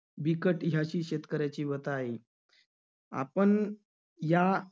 बिकट ह्याची शेतकऱ्याची व्यथा आहे. आपण या